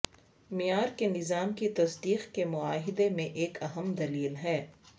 معیار کے نظام کی تصدیق کے معاہدے میں ایک اہم دلیل ہے